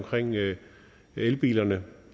elbilerne